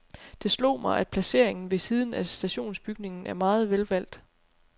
Det slog mig, at placeringen ved siden af stationsbygningen er meget velvalgt.